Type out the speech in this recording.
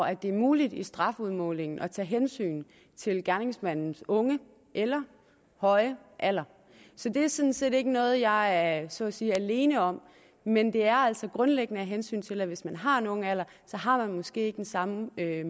er muligt i strafudmålingen at tage hensyn til gerningsmandens unge eller høje alder så det er sådan set ikke noget jeg så at sige er alene om men det er altså grundlæggende af hensyn til at hvis man har en ung alder har man måske ikke den samme mulighed